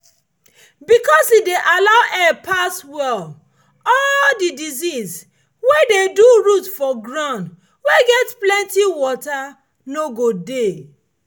because e dey allow air pass well all the disease wey dey do root for ground wey get plenty water no go dey.